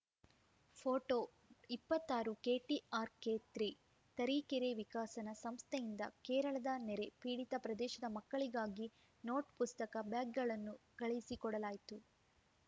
photo ಇಪ್ಪತಾರು KTRK three Tarikere ವಿಕಸನ ಸಂಸ್ಥೆಯಿಂದ ಕೇರಳದ ನೆರೆ ಪೀಡಿತ ಪ್ರದೇಶದ ಮಕ್ಕಳಿಗಾಗಿ ನೋಟ್‌ ಪುಸ್ತಕ ಬ್ಯಾಗ್‌ಗಳನ್ನು ಕಳಿಸಿಕೊಡಲಾಯಿತು